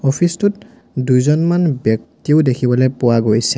Office টোত দুইজন ব্যক্তিও দেখিবলৈ পোৱা গৈছে।